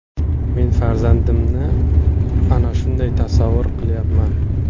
Men farzandimni ana shunday tasavvur qilyapman.